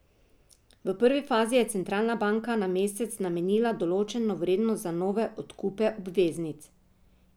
V prvi fazi je centralna banka na mesec namenila določeno vrednost za nove odkupe obveznic.